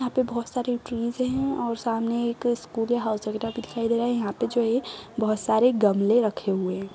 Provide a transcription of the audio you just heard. यहाँ पे बहोत सारी ट्रीज हैं और सामने एक स्कूल या हाउस वगैरह रहा है। यहाँ पे जो है बहोत सारे गमले रखे हुए हैं।